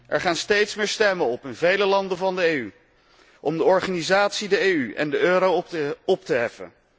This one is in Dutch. Er gaan steeds meer stemmen op in vele landen van de EU om de organisatie EU en de euro op te heffen.